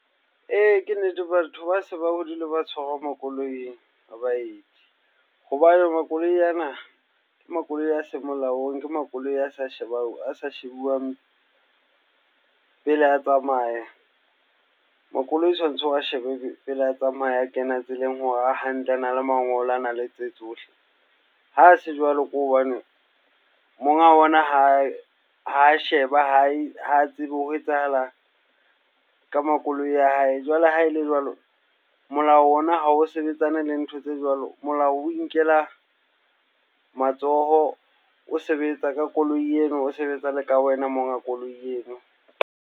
Ee, ke nnete. Batho ba se ba hodile ba tshwarwa makoloing a baeti. Hobane makoloi ana, ke makoloi a seng molaong, ke makoloi a sa a sa shebuwang pele a tsamaya. Makoloi tshwantse o wa shebe pele a tsamaya a kena tseleng hore a hantle, ana le mangolo, ana le tse tsohle. Ha a se jwalo, ke hobane monga ona ha sheba, ha tsebe ho etsahalang ka makoloi a hae. Jwale ha ele jwalo, molao ona ha o sebetsane le ntho tse jwalo, molao o inkela matsoho. O sebetsa ka koloi eno, o sebetsa le ka wena monga koloi eno.